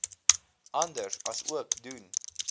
anders aansoek doen